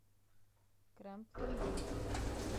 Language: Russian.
крем пломбир